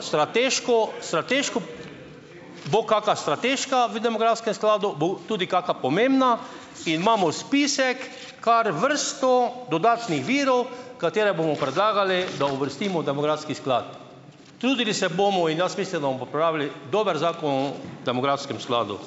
strateško, strateško bo kaka strateška v demografskem skladu, bo tudi kaka pomembna in imamo spisek, kar vrsto dodatnih virov, katere bomo predlagali, da uvrstimo v demografski sklad. Trudili se bomo in jaz mislim, da bomo popravili dober zakon o demografskem skladu.